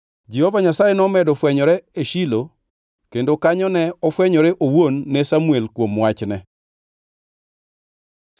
Jehova Nyasaye nomedo fwenyore e Shilo kendo kanyo ne ofwenyore owuon ne Samuel kuom wachne.